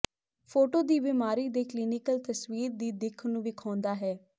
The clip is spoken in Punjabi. ਫੋਟੋ ਦੀ ਬਿਮਾਰੀ ਦੇ ਕਲੀਨਿਕਲ ਤਸਵੀਰ ਦੀ ਦਿੱਖ ਨੂੰ ਵੇਖਾਉਦਾ ਹੈ